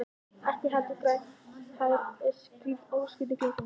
Ekki heldur grænt hár og skrýtin klipping.